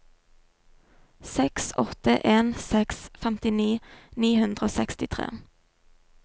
seks åtte en seks femtini ni hundre og sekstitre